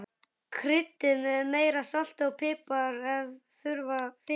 Kryddið með meira salti og pipar ef þurfa þykir.